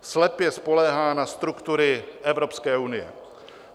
Slepě spoléhá na struktury Evropské unie.